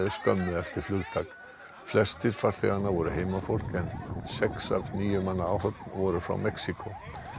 skömmu eftir flugtak flestir farþeganna voru heimafólk en sex af níu manna áhöfn voru frá Mexíkó